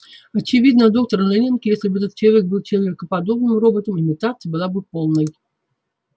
очевидно доктор лэннинг если бы этот человек был человекоподобным роботом имитация была бы полной